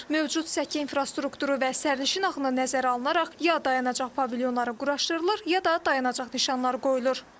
Mövcud səki infrastrukturu və sərnişin axını nəzərə alınaraq ya dayanacaq pavilyonları quraşdırılır, ya da dayanacaq nişanları qoyulur.